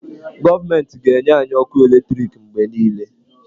Gọọmentị ga-enye anyị ọkụ eletriki mgbe niile.